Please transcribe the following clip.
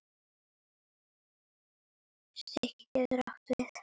Stiki getur átt við